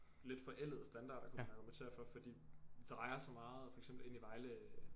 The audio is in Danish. Lidt forældede standarder kunne man argumentere for for de drejer så meget for eksempel ind i Vejle